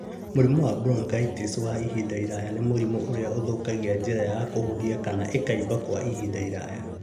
Mũrimũ wa bronchitis wa ihinda iraya nĩ mũrimũ ũrĩa ũthũkagia njĩra ya kũhuhia kana ĩkaimba kwa ihinda iraya.